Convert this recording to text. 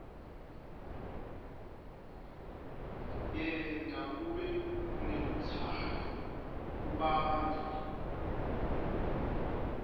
yenta kube nelutsandvo kubantfu